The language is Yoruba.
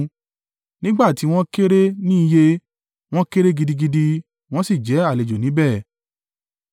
Nígbà tí wọn kéré ní iye, wọ́n kéré gidigidi, wọ́n sì jẹ́ àlejò níbẹ̀,